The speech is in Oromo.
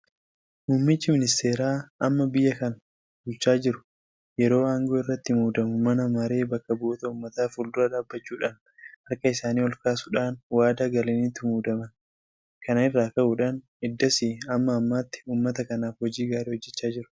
Muummichi Ministeeraa amma biyya kana bulchaa jiru yeroo aangoo irratti muudamu mana maree bakka bu'oota uummataa fuuldura dhaabbachuudhaan harka isaanii olkaasuudhaan waadaa galaniitu muudaman. Kana irraa ka'uudhaan eddasii amma ammaatti uummata kanaaf hojii gaarii hojjechaa jiru.